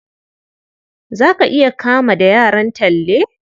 Za ka iya kama da yaran Talle?